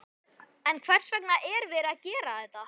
En hvers vegna er verið að gera þetta?